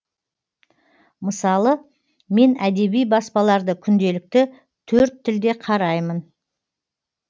мысалы мен әдеби баспаларды күнделікті төрт тілде қараймын